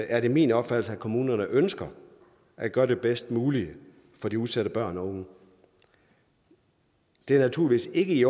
er det min opfattelse at kommunerne ønsker at gøre det bedst mulige for de udsatte børn og unge det er naturligvis ikke i